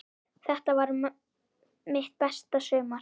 Þetta varð mitt besta sumar.